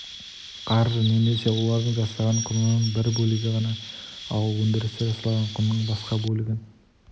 қаржы немесе олардың жасаған құнының бір бөлігі ғана ал өндірісте жасалған құнның басқа бөлігін